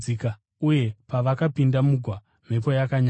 Uye pavakapinda mugwa, mhepo yakanyarara.